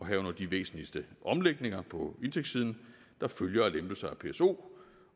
herunder de væsentligste omlægninger på indtægtssiden der følger af lempelser af pso